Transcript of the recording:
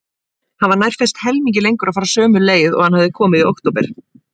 Hann var nærfellt helmingi lengur að fara sömu leið og hann hafði komið í október.